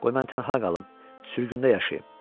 qoy mən tənha qalım, sürgündə yaşayım.